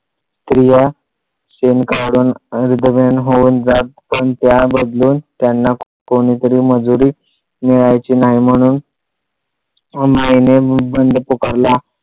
स्त्रिया शेण काढून होऊन जात पण त्या बदलून त्यांना कोणीतरी मजुरी मिळायची नाही म्हणून माईने बंड पुकारला.